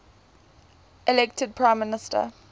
elected prime minister